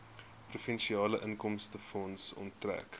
provinsiale inkomstefonds onttrek